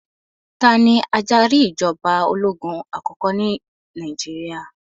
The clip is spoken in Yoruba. Tani adarí ìjọba ológun àkọ́kọ́ ní Nàìjíríà?